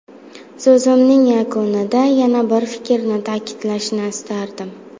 So‘zimning yakunida yana bir fikrni ta’kidlashni istardim.